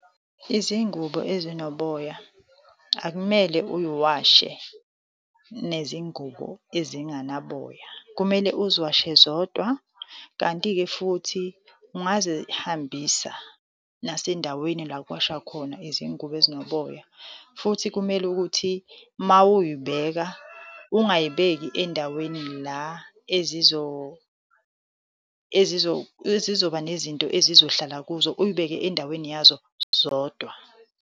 Izingubo ezinoboya akumele uy'washe nezingubo ezinganaboya, kumele uziwashe zodwa. Kanti-ke futhi, ungazihambisa nasendaweni la okuwashwa khona izingubo ezinoboya. Futhi kumele ukuthi uma uyibeka, ungayibeki endaweni la ezizoba nezinto ezizohlala kuzo, uyibeke endaweni yazo zodwa.